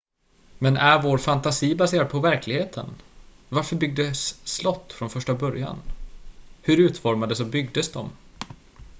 men är vår fantasi baserad på verkligheten varför byggdes slott från första början hur utformades och byggdes de